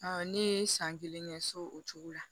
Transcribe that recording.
ne ye san kelen kɛ so o cogo la